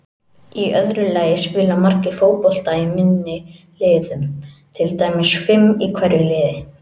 Í öðru lagi spila margir fótbolta í minni liðum, til dæmis fimm í hverju liði.